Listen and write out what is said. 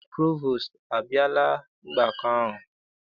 Provostu abịala ọgbakọ ahụ?